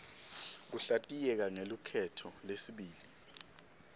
kuhlatiyeka ngelukhetto lesibili